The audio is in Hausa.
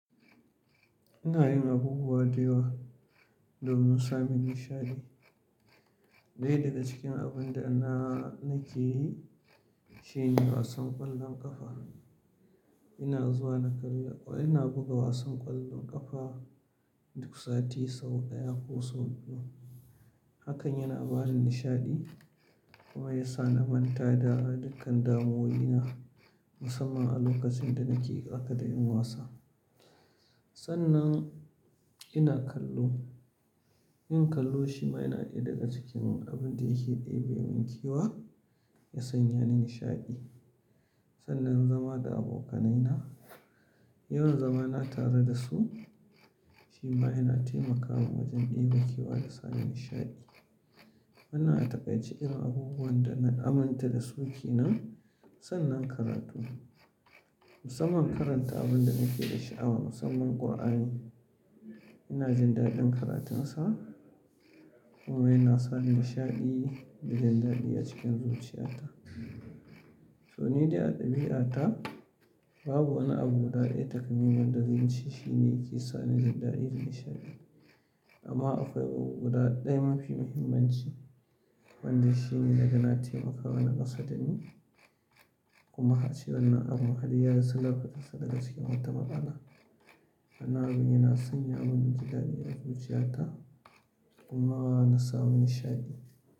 Ina yin abubuwa da yawa domin samun nishaɗi. Ɗaya daga cikin abun da na, nake yi shine wasan ƙwallon ƙafa. Ina zuwa na kalli, ina buga wasan ƙwallon ƙafa duk sati sau ɗaya ko sau biyu. Hakan yana ba ni nishaɗi kuma ya sa na manta da dukkan damuwoyi na musamman a lokacin da nake tsaka da yin wasa. Sannan ina kallo. Yin kallo shi ma yana ɗaya daga cikin abin da yake ɗebe mun kewa ya sanya ni nishaɗi. Sannan zama da abokanaina, yawan zamana tare da su shi ma yana taimaka mun wajen ɗebe kewa da samu nishaɗi. Wannan a taƙaitce irin abubuwan da na aminta da su ke nan. Sannan karatu, musamman karanta abun da nake da sha'awa musamman Kur'ani. Ina jin daɗin karatunsa kuma yana sa ni nishaɗi da jin daɗi a cikin zuciyata. To, ni dai a ɗabi'ata babu wani abu guda ɗaya takamaiman da zance shi ne yake sa ni jin daɗi da nishaɗi. Amma akwai abu guda ɗaya mafi muhimmanci wanda shi ne naga na taimakawa na gasa da ni, kuma ace wannan abun har yayi silar fitar sa daga cikin wata matsala. Wannan abin yana sanya mun jin daɗi a zuciyata kuma na samu nishaɗi.